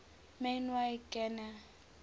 man y gana